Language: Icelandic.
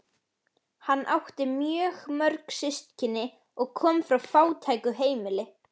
Hann átti mjög mörg systkini og kom frá fátæku heimili.